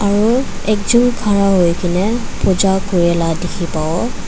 aro ekjon khara hoikaena na puja kurila dikhi pawo.